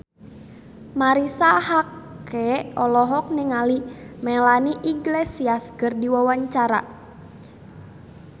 Marisa Haque olohok ningali Melanie Iglesias keur diwawancara